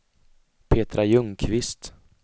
Petra Ljungqvist